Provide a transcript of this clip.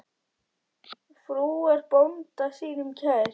Frú er bónda sínum kær.